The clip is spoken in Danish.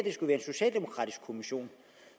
socialdemokratisk kommission